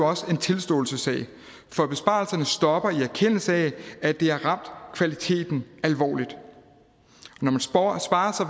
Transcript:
også en tilståelsessag for besparelserne stopper i erkendelse af at det har ramt kvaliteten alvorligt når man sparer så